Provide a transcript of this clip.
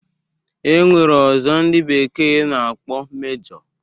E nwere ọzọ ndị bekee na-akpọ Mejọ